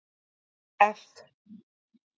F